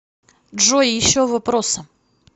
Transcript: джой еще вопросы